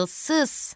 Ağılsız!